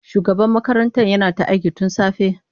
Shugaban makarantar yana ta aiki tun safe.